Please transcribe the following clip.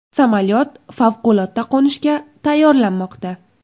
Samolyot favqulodda qo‘nishga tayyorlanmoqda.